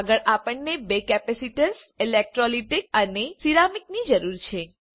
આગળ આપણને બે કેપેસિટર્સ ઇલેક્ટ્રોલિટીક અને સિરામિકની જરૂર છે